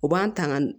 U b'an tanga